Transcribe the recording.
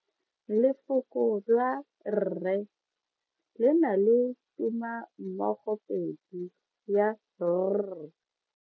Lefoko la rre le na le tumammogopedi ya r.